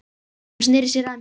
Hún sneri sér að mér.